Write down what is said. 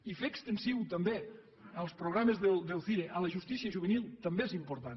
i fer extensiu també els programes del cire a la justícia juvenil també és important